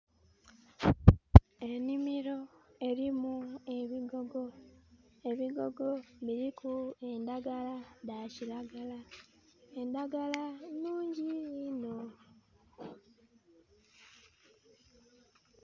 Enhimiro erimu ebigogo. Ebigogo biriku endagala dha kiragala. Endagala nnhungi inho.